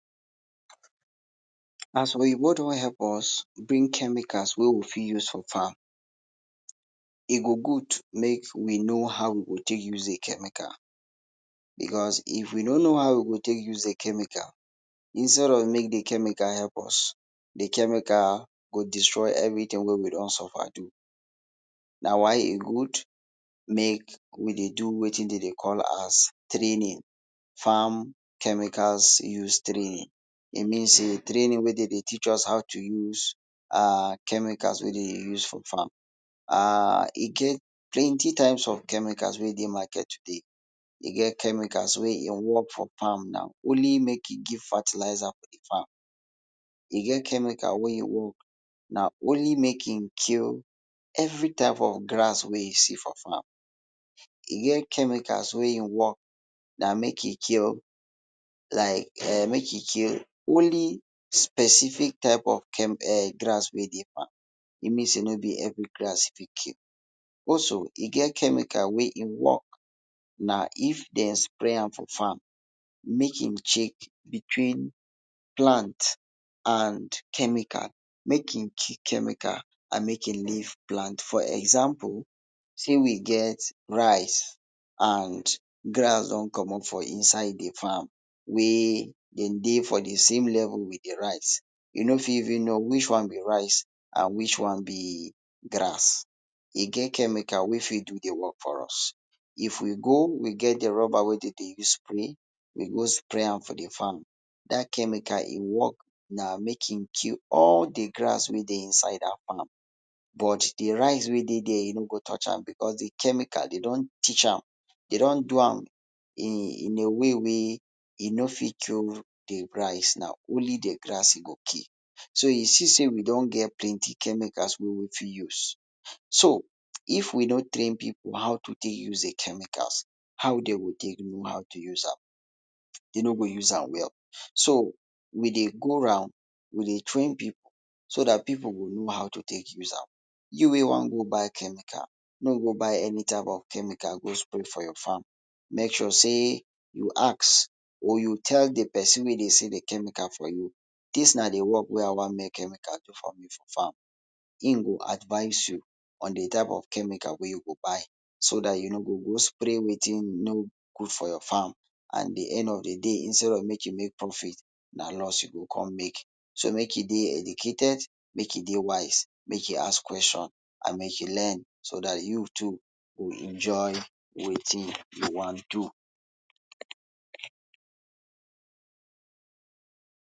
As oyinbo don help us bring chemicals wey we fit use for farm, e go gud make we no how we go take use de chemical, Becos if we no no how we go take use de chemical, instead of make de chemicals eep us, de chemical go destroy everytin wey we don suffer do. Na why e gud make we dey do wetin dem dey call as training, farm chemical use training. E means sey training whey den dey teach us how to use um chemical whey dem dey use for farm um e get plenty type of chemicals wey de market today, e get chemicals wey e work for farm na only make e kill fertilizers for di farm, e get chemicals wey im work na only make e kill every type of grass wey e see for farm, e get chemicals wey im work na make e kill like um make e kill only specific type of chem um grass wey dey farm, e means sey no be every grass e go kill. Also e get chemical wey em work na if Dem spray am for farm make e check between plants and chemical make e kill chemical and make e leave plant, for example say we get rice and grass don comot for inside de farm wey dem dey same level with de rice you no fit even no which one be rice which one be grass, e get chemical wey fit do de work for us. If we go get de ruba wey dem dey use spray, we go spray am for the farm. Dat chemical em work na to kill all de grass inside de farm, but de rice wey dey dere e no go touch am, Becos de chemical dey don teach am dey don do am in a way wey we no go kill de rice na only de grass e go kill so you see sey we don get plenty chemicals wey we fit use. So if we no train pipu how to take use the chemical, how dey go take no how to use am? Dem no go use am well, so we dey go round wey dey train pipu, so that pipu go no how to take use, you wey wan go buy chemical no go buy any type of chemical put am for your farm make sure dey you ask or you tell de pesin wey dey sell de chemical for you, dis na de work wey I wan make de chemical so for me, em go advice you on de type of chemical to use so dat you no go go spray wetin no good for your farm at de end of de day instead of make you make profit na lost you go come make, so make you dey educated make you dey wise, dey try de ask questions and make you learn so dat you to go enjoy wetin you wan do.